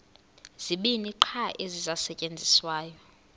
zibini qha ezisasetyenziswayo